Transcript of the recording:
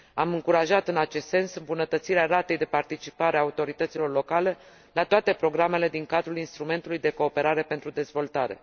Am încurajat în acest sens îmbunătățirea ratei de participare a autorităților locale la toate programele din cadrul Instrumentului de cooperare pentru dezvoltare.